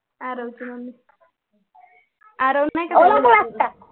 आरव ची मम्मी आरव नाही का